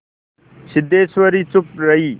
सिद्धेश्वरी चुप रही